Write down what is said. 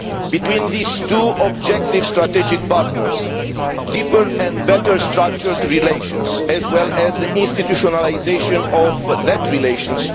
Between these two objective strategic partners, there is a need for deeper and better structured relations, as well as the institutionalisation of those relations.